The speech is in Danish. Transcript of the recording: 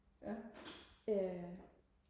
ja